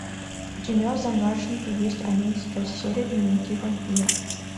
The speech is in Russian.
у тебя в загашнике есть одиннадцатая серия дневники вампира